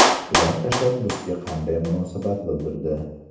Ular tashabbusga qanday munosabat bildirdi?